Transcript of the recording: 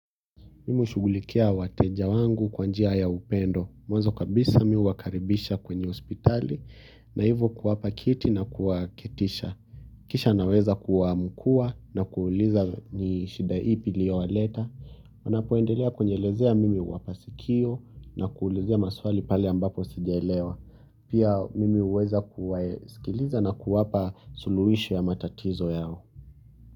Mimi hushughulikia wateja wangu kwa njia ya upendo mwanzo kabisa mi huwakaribisha kwenye hospitali na hivyo kuwapa kiti na kuwaketisha kisha naweza kuwaamkua na kuuliza ni shida ipi iliyowaleta. Wanapoendelea kunielezea mimi huwapa sikio na kuulizia maswali pale ambapo sijaelewa. Pia mimi huweza kuwasikiliza na kuwapa suluhisho ya matatizo yao.